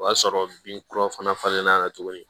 O y'a sɔrɔ binkuraw fana tuguni